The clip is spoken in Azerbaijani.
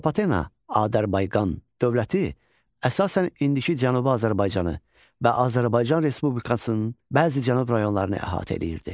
Atropatena, Adarbayqan dövləti əsasən indiki Cənubi Azərbaycanı və Azərbaycan Respublikasının bəzi Cənub rayonlarını əhatə eləyirdi.